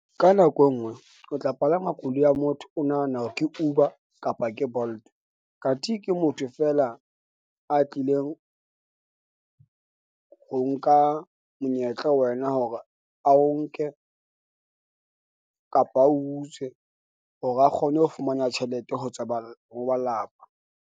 Ka nako e nngwe o tla palama koloi ya motho. O nahana hore ke Uber kapa ke Bolt kanthi ke motho feela a tlileng ho nka monyetla ho wena hore a o nke kapa a utswe hore a kgone ho fumana tjhelete ho tsa ho ba lelapa.